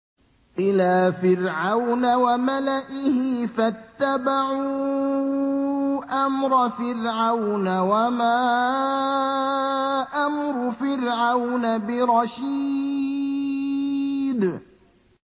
إِلَىٰ فِرْعَوْنَ وَمَلَئِهِ فَاتَّبَعُوا أَمْرَ فِرْعَوْنَ ۖ وَمَا أَمْرُ فِرْعَوْنَ بِرَشِيدٍ